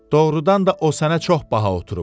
Doğrudan da o sənə çox baha oturub.